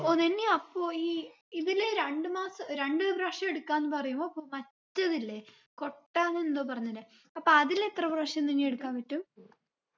O നനി അപ്പൊ ഈ ഇതിൽ രണ്ട് മാസം രണ്ട് പ്രാവശ്യം എടുക്കാന്ന ത് പറയുമ്പൊ അപ്പൊ മറ്റതില്ലേ കൊട്ടാനെന്തോ പറഞ്ഞില്ലേ അപ്പൊ അതില് എത്ര പ്രാവശ്യം നനി എടുക്കാൻ പറ്റും